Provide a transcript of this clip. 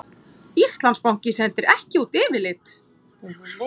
Íslandsbanki sendir ekki út yfirlit